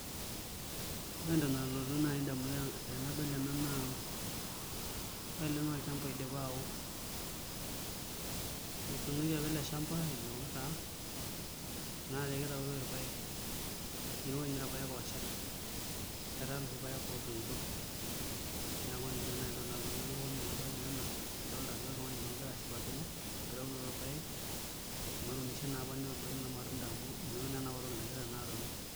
Ore entoki nalotu naai indamunot tenadol ena naaa ore ele naa olchamba oidipa aao etuunoki apa ele shamba omeoo naa ometaa naa ekitautoi irpaek ake ninye irpaek ooshal etaa iloshi paek ootoito neeku ninche naai ntokiting' naaponu elukunya enadol naa ena adolta ajo oltung'ani ogira ashipakino enkitaunoto orpaek netuunishe naapa netadua naa irmatunda amu inoto naa enapa toki nagira naa atalu.